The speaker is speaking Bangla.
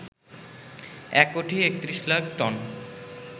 এক কোটি ৩১ লাখ টন